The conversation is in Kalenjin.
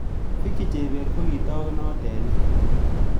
Vicky chebet kokitaagunot eng' nee